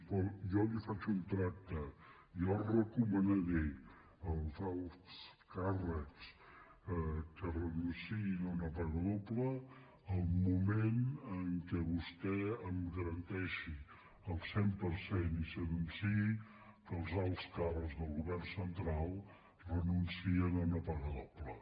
però jo li faig un tracte jo recomanaré als alts càrrecs que renunciïn a una paga doble al moment en què vostè em garanteixi al cent per cent i s’anunciï que els alts càrrecs del govern central renuncien a una pa·ga doble